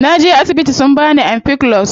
Naje asibiti sun bani ampiclox.